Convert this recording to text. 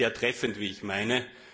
sehr treffend, wie ich meine.